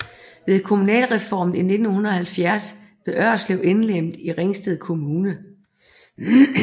Ved kommunalreformen i 1970 blev Ørslev indlemmet i Ringsted Kommune